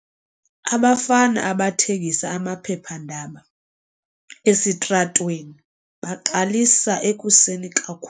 Abafana abathengisa amaphephandaba esitratweni baqalisa ekuseni kakhu.